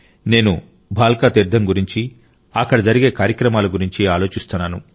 నేను భాల్కా తీర్థం గురించి అక్కడ జరిగే కార్యక్రమాల గురించి ఆలోచిస్తున్నాను